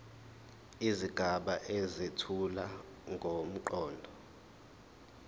izigaba ezethula ngomqondo